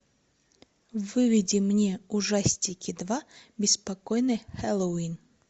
выведи мне ужастики два беспокойный хэллоуин